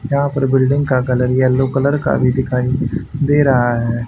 यहां पर बिल्डिंग का कलर येलो कलर का भी दिखाइए दे रहा है।